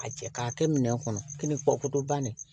A cɛ k'a kɛ minɛn kɔnɔ kini kɔ bannen